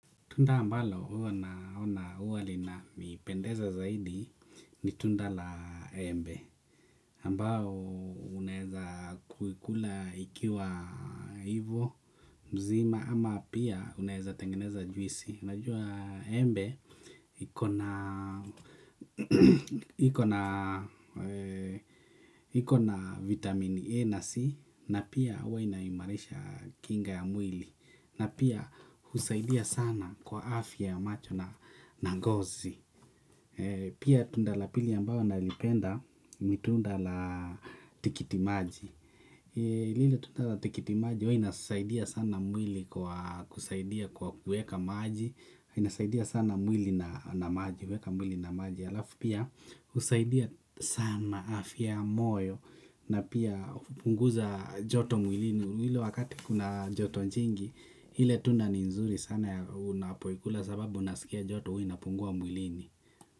Tunda ambalo huwa naona huwa linanipendeza zaidi ni tunda la embe ambao unaeza kuikula ikiwa hivo mzima ama pia unaeza tengeneza juisi najua embe iko na iko na vitamini E na C na pia huwa inaimarisha kinga ya mwili na pia husaidia sana kwa afya ya macho na na ngozi pia tunda la pili ambalo nalipenda ni tunda la tikitimaji hili tunda la tikitimaji huwa inasaidia sana mwili kwa kusaidia kwa kueka maji inasaidia sana mwili na maji weka mwili na maji halafu pia husaidia sana afya ya moyo na pia kupunguza joto mwilini ile wakati kuna joto jingi ile tunda ni nzuri sana unapoikula sababu unasikia joto huwa inapungua mwilini.